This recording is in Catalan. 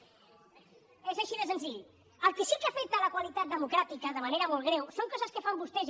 és així de senzill el que sí que afecta la qualitat democràtica de manera molt greu són coses que fan vostès